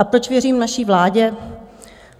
A proč věřím naší vládě?